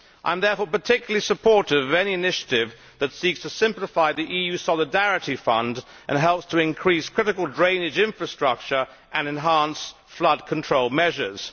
I am therefore particularly supportive of any initiative that seeks to simplify the EU Solidarity Fund and helps to increase critical drainage infrastructure and enhance flood control measures.